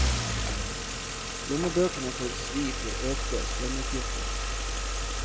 Lommebøkene får svi for økte strømutgifter.